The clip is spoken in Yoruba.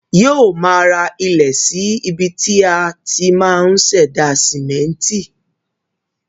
Yóò ma ra ilẹ̀ sí ibi tí á ti ma ṣẹ̀dá sìmẹ́ntì